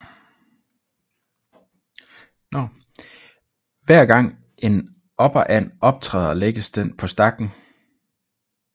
Hver gang en operand optræder lægges den på stakken